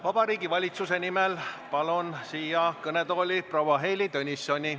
Vabariigi Valitsuse nimel eelnõusid üle andma palun kõnetooli proua Heili Tõnissoni.